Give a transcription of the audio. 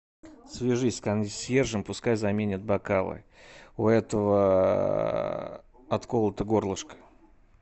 свяжись с консьержем пускай заменят бокалы у этого отколото горлышко